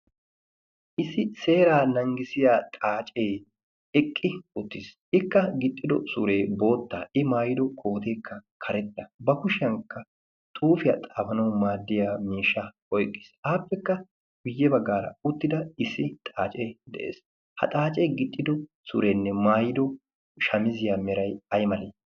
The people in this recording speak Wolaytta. issi seeraa nanggisiya xaacee eqqi uttiis ikka gixxido suree boottaa i maayido kooteekka karetta ba kushiyaankka tuufiyaa xaafanawu maaddiya miishsha oyqqiis aappekka buyye baggaara uttida issi xaacee de'ees ha xaacee gixxido sureenne maayido shamiziyaa meray ay malee